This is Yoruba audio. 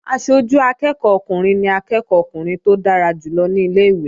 Aṣojú akẹ́ẹ̀kọ́ ọkùnrin ni akẹ́ẹ̀kọ́ ọkùnrin tó dára jù lọ ní ilé-ìwé